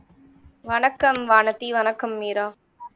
வணக்கம் வானதி வணக்கம் மீரா